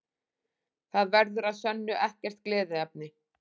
Það verður að sönnu ekkert gleðiefni